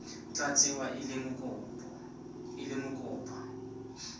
tla tsewa e le mokopa